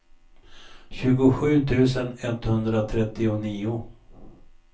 tjugosju tusen etthundratrettionio